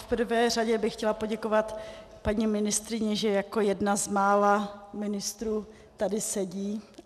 V prvé řadě bych chtěla poděkovat paní ministryni, že jako jedna z mála ministrů tady sedí.